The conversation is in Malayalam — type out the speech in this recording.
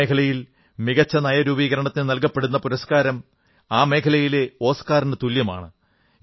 ഈ മേഖലയിൽ മികച്ച നയരൂപീകരണത്തിന് നല്കപ്പെടുന്ന പുരസ്കാരം ആ മേഖലയിലെ ഓസ്കാറിനു തുല്യമാണ്